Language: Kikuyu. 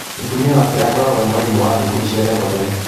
Mũtumia wake akoragũo e mwarimu wa thukuru cia thekondarĩ.